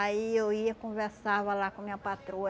Aí eu ia, conversava lá com minha patroa.